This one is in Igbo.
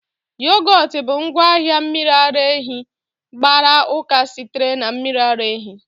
Yogot bụ ngwaahịa mmiri ara ehi gbara uka sitere na mmiri ara ehi